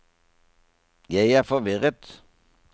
jeg er forvirret